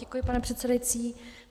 Děkuji, pane předsedající.